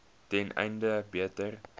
ten einde beter